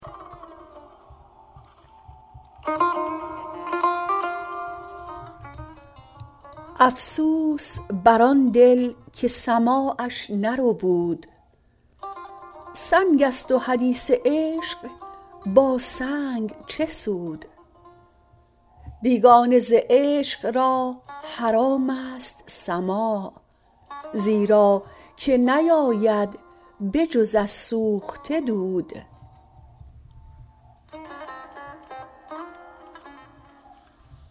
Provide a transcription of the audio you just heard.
افسوس بر آن دل که سماعش نربود سنگ است و حدیث عشق با سنگ چه سود بیگانه ز عشق را حرام است سماع زیرا که نیاید به جز از سوخته دود